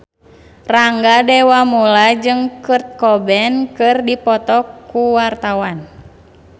Rangga Dewamoela jeung Kurt Cobain keur dipoto ku wartawan